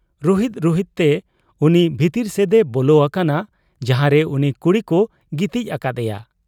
ᱨᱩᱦᱮᱫ ᱨᱩᱦᱮᱫ ᱛᱮ ᱩᱱᱤ ᱵᱷᱤᱛᱤᱨ ᱥᱮᱫ ᱮ ᱵᱚᱞᱚ ᱟᱠᱟᱱᱟ ᱡᱟᱦᱟᱨᱮ ᱩᱱᱤ ᱠᱩᱲᱤᱠᱚ ᱜᱤᱛᱤᱡ ᱟᱠᱟᱫ ᱮᱭᱟ ᱾